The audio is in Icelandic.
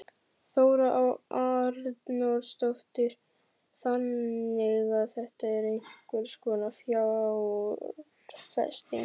Þóra Arnórsdóttir: Þannig að þetta er einhvers konar fjárfesting?